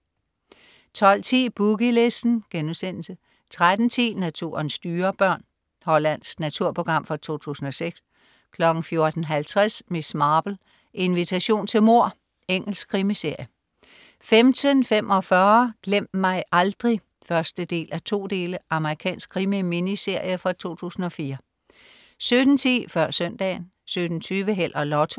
12.10 Boogie Listen* 13.10 Naturens dyrebørn. Hollandsk naturprogram fra 2006 14.50 Miss Marple: Invitation til mord. Engelsk krimiserie 15.45 Glem mig aldrig 1:2. Amerikansk krimi-minserie fra 2004 17.10 Før Søndagen 17.20 Held og Lotto